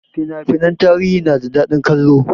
Fina finan tarihi na da daɗin kallo